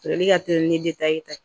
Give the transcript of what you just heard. ka teli ni ta ye